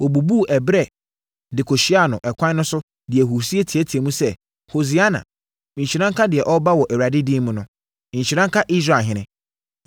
wɔbubuu ɛberɛ de kɔhyiaa no ɛkwan de ahurisie teateaam sɛ, “Hosiana!” “Nhyira nka deɛ ɔreba wɔ Awurade din mu no!” “Nhyira nka Israelhene!”